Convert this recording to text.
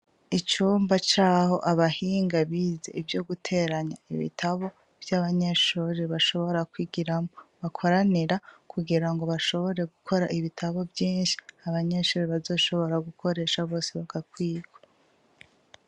Icumba caho abahinga bize ivyo guteranya ibitabo vy'abanyeshuri bashobora kwigiramwo, bakoranira kugirango bashobore gukora ibitabo vyinshi, abanyeshure bazoshobora gukoresha bose bagakwirwa.